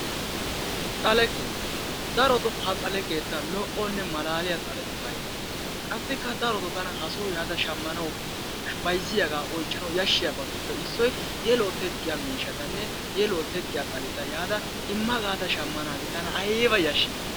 Xaale keettaa, darotoo ha xalee lo"onne malaaliyaa xalee bayzzettees. Qassikka darotoo tana ha soo yaada shammanawu bayzziyaagaa oychchanawu yashshiyabatuppe issoy yeluwa teqqiya miishshatanne yeluwa teqqiya xaleta yaada imma gaada shammanaagee tana aybb yadhshi